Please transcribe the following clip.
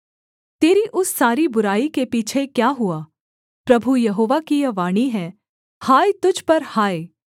तेरी उस सारी बुराई के पीछे क्या हुआ प्रभु यहोवा की यह वाणी है हाय तुझ पर हाय